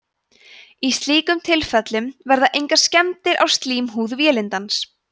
í slíkum tilfellum verða engar skemmdir á slímhúð vélindans